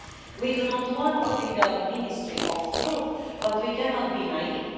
We do not want to be the ministry of truth', but we cannot be naive.